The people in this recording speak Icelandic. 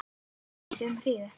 Að minnsta kosti um hríð.